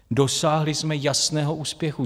Dosáhli jsme jasného úspěchu.